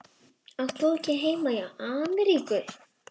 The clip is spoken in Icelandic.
Átt þú ekki heima í Ameríku?